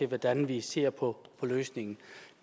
hvordan vi ser på emnet